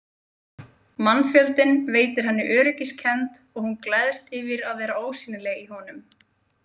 Mannfjöldinn veitir henni öryggiskennd og hún gleðst yfir að vera ósýnileg í honum.